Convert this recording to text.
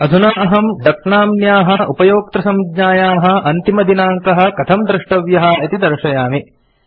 अधुना अहम् डक नाम्न्याः उपयोक्तृसंज्ञायाः अन्तिमदिनाङ्कः कथं द्रष्टव्यः इति दर्शयामि